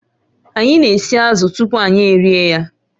Anyị na-esi azụ̀ tupu anyị erie ya